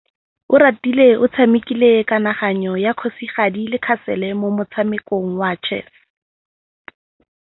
Oratile o tshamekile kananyô ya kgosigadi le khasêlê mo motshamekong wa chess.